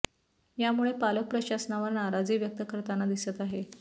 यामुळे पालक प्रशासनावर नाराजी व्यक्त करताना दिसत आहेत